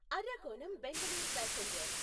Arakkonam Bangalore passenger